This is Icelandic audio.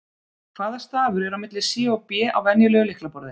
Hvaða stafur er á milli C og B á venjulegu lyklaborði?